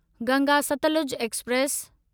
Ganga Satluj express